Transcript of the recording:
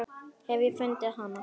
Ég hef fundið hana!